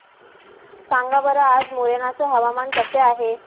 सांगा बरं आज मोरेना चे हवामान कसे आहे